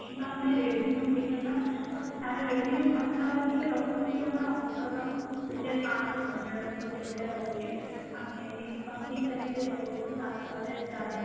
ଆମେ revenue ଦେଖିବା ତାର revenue ପାଖାପାଖି ରହୁଛି ଆମର ଅଠର ହଜାର ପାନ୍ସ ପଞ୍ଚାନବେ ଗୋଟି ଭଳିଆ ରହୁଛି ଆମେ ସାତ ହଜାର ଚାରି